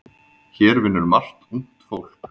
Hér vinnur margt ungt fólk.